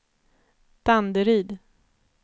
Danderyd